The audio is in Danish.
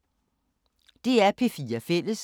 DR P4 Fælles